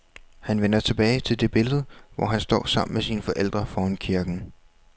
Han vender tilbage til det billede, hvor han står sammen med sine forældre foran kirken.